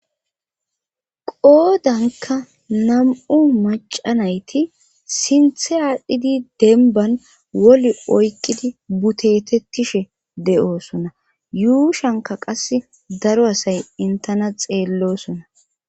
qoodanka nam7u macanayti sinthe aadhdhidi denban wol oykqidi butetettishe de7oosona yuushanka qas daro asay intena xeellosona